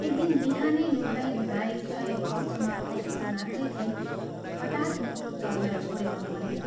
एक दिन बिहानै नुहाई धुवाई शयनकक्षमा पसेकी मात्रै थिइन् हठात् मुटु चल्न छोडेर मरिन्।